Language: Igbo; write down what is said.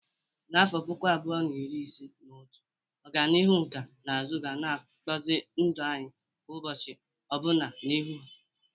N'afọ puku abuo na iri ise na otu, ọganihu nkà na ụzụ ga-akpụzi ndụ anyị kwa ụbọchị ọbụna n'ihu.